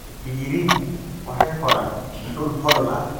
Digirigu waxay koraan dhul hodan ah.